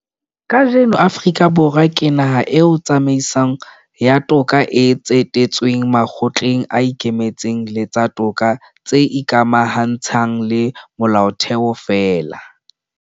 Kajeno Afrika Borwa ke naha eo tsamaiso ya toka e tsetetsweng makgotleng a ikemetseng le tsa toka tse ikamahantshang le Molaotheo feela.